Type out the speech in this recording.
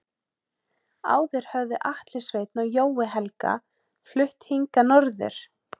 Áður höfðu Atli Sveinn og Jói Helga flutt hingað norður.